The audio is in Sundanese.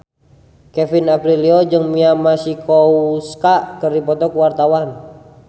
Kevin Aprilio jeung Mia Masikowska keur dipoto ku wartawan